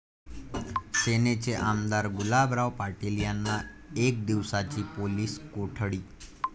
सेनेचे आमदार गुलाबराव पाटील यांना एक दिवसाची पोलीस कोठडी